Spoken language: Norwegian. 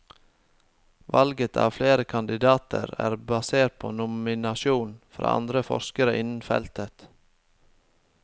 Valget av kandidater er basert på nominasjon fra andre forskere innen feltet.